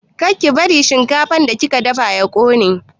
Kar ki bari shinkafar da kika dafawa ya ƙone!